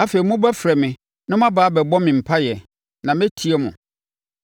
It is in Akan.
Afei mobɛfrɛ me na moaba abɛbɔ me mpaeɛ, na mɛtie mo.